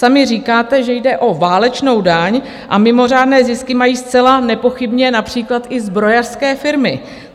Sami říkáte, že jde o válečnou daň, a mimořádné zisky mají zcela nepochybně například i zbrojařské firmy.